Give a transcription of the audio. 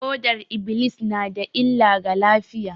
Fodar -iblis na da illa ga lafiya